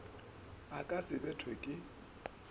o ka se bethwe ke